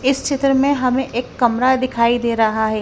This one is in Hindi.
इस चित्र में हमें एक कमरा दिखाई दे रहा है।